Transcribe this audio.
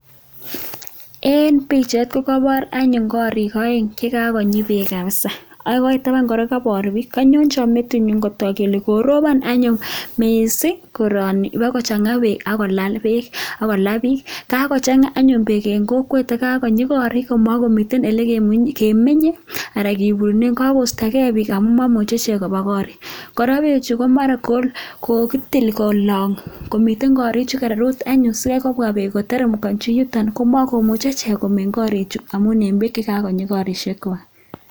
En pichait kokoboor anyone korik oeng chekakonyii beek kabisa. Tabaan kora ko koboor biik. Konyonyon metinyun, kotoku kole koroobon anyone missing koroni ibakochanga beek, ako laa biik. Kakochangaa anyun beek en kokwet ak kakonyii korik. Omokomiten ole kemenye anan olekiburunen. Kakoistogee bik kabisa, ama imuche ichek koba korikchwak. Kora bee chu komaran kokitil kolong, ak miten korichu kererut anyun sikaikobwa beek koterem koit ireyuton komokomuche chi komeny korik. Amun kakonyii korokywak